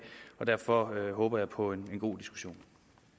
og derfor håber jeg på en god diskussion